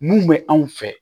Mun bɛ anw fɛ